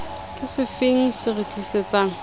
ke sefeng se re tlisetsang